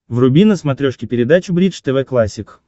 вруби на смотрешке передачу бридж тв классик